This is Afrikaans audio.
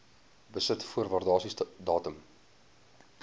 besit voor waardasiedatum